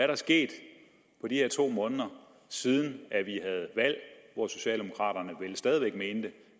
der sket på de her to måneder siden vi havde valg hvor socialdemokraterne vel stadig væk mente